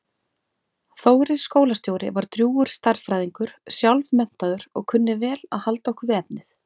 Þórir skólastjóri var drjúgur stærðfræðingur sjálfmenntaður og kunni vel að halda okkur við efnið.